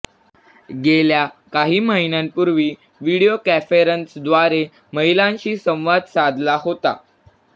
गेल्या काही महिन्यांपूर्वी व्हिडिओ कॉन्फरन्सद्वारे महिलांशी संवाद साधला होता